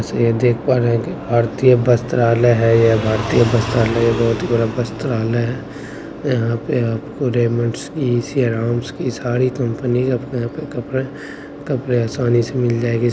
ये देख पा रहे है कि भारतीय वस्त्रालय है। यह भारतीय वस्त्रालय बहुत बड़ा भारतीय वस्त्रालय है। यहां पे आपको रेमंड्स ये सियाराम की सारी कंपनी अपने-अपने कपड़े कपड़े आसानी से मिल जायेंगे।